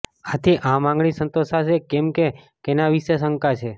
આથી આ માંગણી સંતોષાશે કે કેમ કેના વિશે શંકા છે